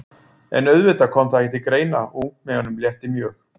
En auðvitað kom það ekki til greina og ungmeyjunum létti mjög.